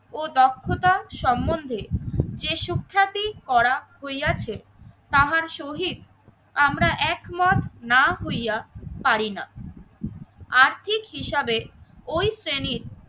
ও দক্ষতা সম্বন্ধে যে সুখ্যাতি করা হইয়াছে তাহার শহীদ আমরা একমত না হইয় পারিনা। আর্থিক হিসাবে ওই শ্রেণীর